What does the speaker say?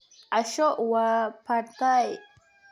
Casho waa pad Thai.